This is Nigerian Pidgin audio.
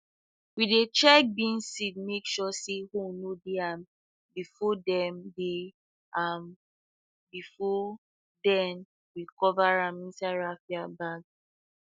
we dey check beans seed make sure say hole no dey am before dey am before we cover am inside raffia bag